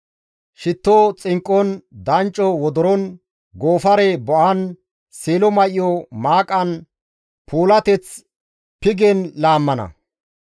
Shitto xinqqon, dancco wodoron, goofare bo7an, seelo may7o maaqan, puulateth pigen laammana.